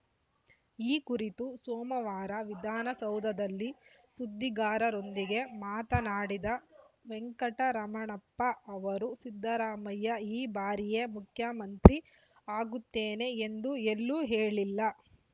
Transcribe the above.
ಈ ಕುರಿತು ಸೋಮವಾರ ವಿಧಾನಸೌಧದಲ್ಲಿ ಸುದ್ದಿಗಾರರೊಂದಿಗೆ ಮಾತನಾಡಿದ ವೆಂಕಟರಮಣಪ್ಪ ಅವರು ಸಿದ್ದರಾಮಯ್ಯ ಈ ಬಾರಿಯೇ ಮುಖ್ಯಮಂತ್ರಿ ಆಗುತ್ತೇನೆ ಎಂದು ಎಲ್ಲೂ ಹೇಳಿಲ್ಲ